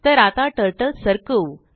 तर आताTurtle सरकवू